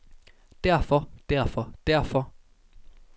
derfor derfor derfor